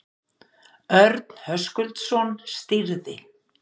Örn Höskuldsson stýrði.